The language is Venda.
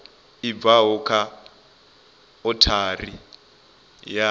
i bvaho kha othari ya